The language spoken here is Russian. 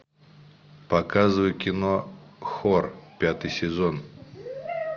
показывай кино хор пятый сезон